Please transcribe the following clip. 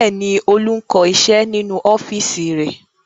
Bẹ́ẹ̀ ni, Olú ń kọ iṣẹ́ nínú ọ́fíísì rẹ̀.